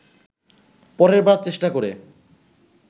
পরের বার চেষ্টা করে